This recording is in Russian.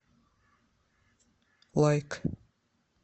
лайк